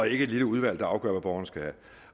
ikke et lille udvalg der afgør hvad borgerne skal have